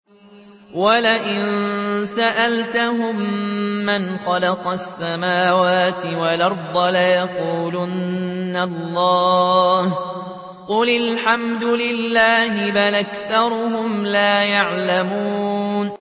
وَلَئِن سَأَلْتَهُم مَّنْ خَلَقَ السَّمَاوَاتِ وَالْأَرْضَ لَيَقُولُنَّ اللَّهُ ۚ قُلِ الْحَمْدُ لِلَّهِ ۚ بَلْ أَكْثَرُهُمْ لَا يَعْلَمُونَ